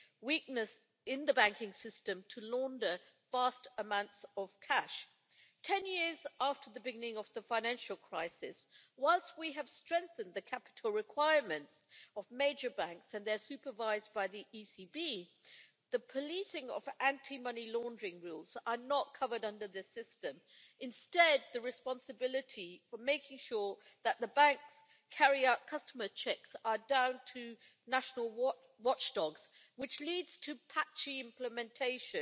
weakness in the banking system to launder vast amounts of cash. Ten years after the beginning of the financial crisis, whilst we have strengthened the capital requirements of major banks, and they are supervised by the ECB, the policing of anti money laundering rules is not covered under this system. Instead the responsibility for making sure that the banks carry out customer checks is down to national watchdogs, which leads to patchy implementation.